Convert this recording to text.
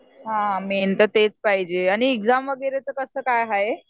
हां मेन तर तेच पाहिजे आणि एक्झाम वगैरेचं कसं काय हाय?